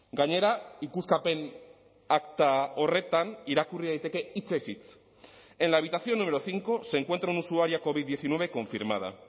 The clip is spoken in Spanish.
gainera ikuskapen akta horretan irakurri daiteke hitzez hitz en la habitación número cinco se encuentra un usuaria covid diecinueve confirmada